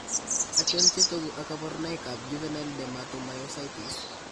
Achon chetogu ak kaborunoik ab juvenile dermatomyositis